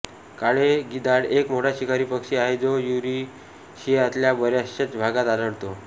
काळे गिधाड एक मोठा शिकारी पक्षी आहे जो युरेशियातल्या बऱ्याचश्या भागात आढळतो